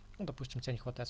допустим